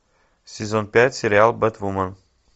сезон пять сериал бэтвумен